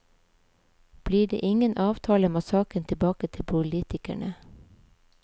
Blir det ingen avtale må saken tilbake til politikerne.